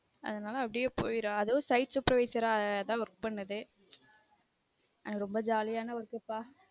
அதுனால அப்டியே போய்டும் அதுவும் work பண்ணுது அது ரொம்ப jolly ஆனா work க்கு கா அதுனால அப்டியே போய்டும்